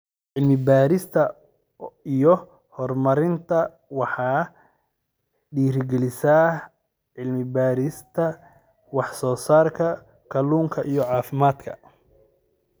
Cilmi-baarista iyo Horumarinta Waxay dhiirigelisaa cilmi-baarista wax-soo-saarka kalluunka iyo caafimaadka.